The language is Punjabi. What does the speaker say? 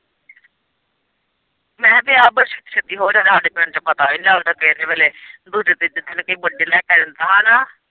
ਮੈਂ ਤੇ ਆਪ ਛੱਤੀ ਹੋਰ ਜਗਾਂ ਹਾਡੇ ਪਿੰਡ ਚ ਪਤਾ ਵੀ ਨੀ ਲੱਗਦਾ ਕਿਹੜੇ ਵੇਲ਼ੇ ਦੂਜੇ-ਤੀਜੇ ਦਿਨ ਕੋਈ ਲੈ ਕੇ ਆ ਜਾਂਦਾ ਹੈਨਾ।